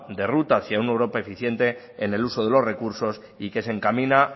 de ruta hacia una europa eficiente en el uso de los recursos y que se encamina